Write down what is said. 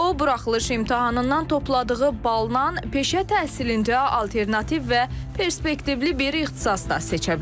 O buraxılış imtahanından topladığı baldan peşə təhsilində alternativ və perspektivli bir ixtisas da seçə bilər.